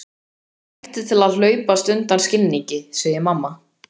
Mér hættir til að hlaupast undan skilningi, segir mamma.